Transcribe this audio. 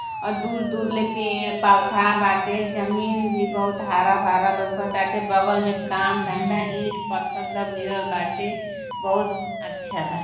और दूर दूर ले पेड़ पौधा बाटे। जमीन भी बहुत हरा भरा लौकताटे। बगल में काम धंधा ईंट पत्थर सब गिरल बाटे। बहुत सु अच्छा बा।